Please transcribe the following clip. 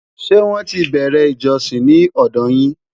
ṣé wón tí bere ìjósìn ní òdò yín?